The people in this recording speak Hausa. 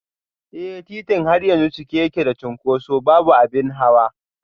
Eh, titin har yanzu cike yake da cunkoso, babu abin hawa